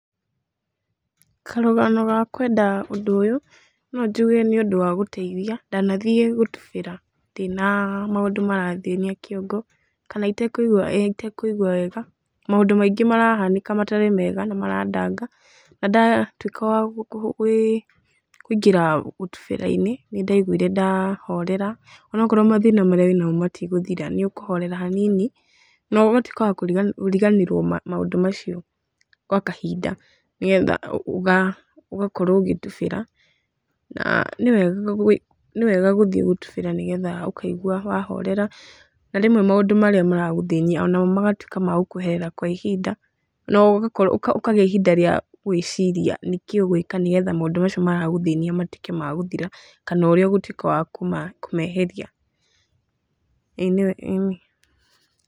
Karũgano ga kwenda ũndũ ũyũ, no njuge nĩ ũndũ wa gũteithia. Ndanathiĩ gũtubĩra ndĩna maũndũ marathĩnia kĩongo, kana itekũigua ĩĩ ĩtekũigua wega, maũndũ maingĩ marahanĩka matarĩ mega na marandanga. Na ndatuĩka wa kũingĩra gũtubĩra-inĩ, nĩ ndaiguire ndahorera. Onokorwo mathĩna marĩa wĩnamo matigũthĩra , nĩ ũkũhorera hanini, na ũgatuĩka wa kũriganĩrwo maũndũ macio gwa kahinda nĩgetha ũgakorwo ũgĩtubĩra. Na nĩ wega nĩ wega gũthiĩ gũtubĩra nĩ getha ũkaigua wahorera. Na rĩmwe maũndũ marĩa maragũthĩnia onamo magatuĩka ma gũkweherera kwa ihinda, na ũgakorwo ũkagĩa ihinda rĩa gwĩciria nĩ kĩĩ ũgwĩka nĩgetha maũndũ macio maragũthĩnia matuĩke ma gũthira, kana ũrĩa ũgũtuĩka wa kũmeheria ĩĩ nĩ wega ĩĩni.